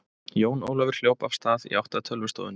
Jón Ólafur hljóp af stað í átt að tölvustofunni.